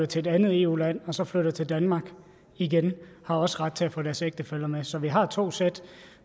til et andet eu land og så flytter til danmark igen har også ret til at få deres ægtefæller med så vi har to sæt